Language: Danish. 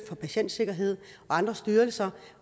for patientsikkerhed og andre styrelser